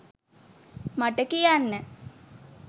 මට කියන්න.